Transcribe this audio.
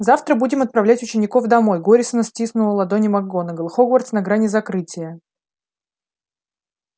завтра будем отправлять учеников домой горестно стиснула ладони макгонагалл хогвартс на грани закрытия